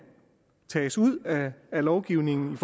tages ud af lovgivningen